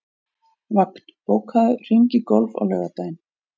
Vagn, bókaðu hring í golf á laugardaginn.